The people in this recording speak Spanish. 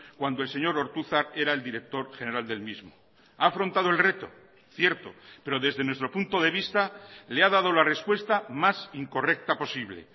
cuando el señor ortuzar era el director general del mismo ha afrontado el reto cierto pero desde nuestro punto de vista le ha dado la respuesta más incorrecta posible